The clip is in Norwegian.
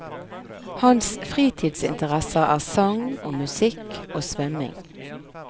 Hans fritidsinteresser er sang og musikk og svømming.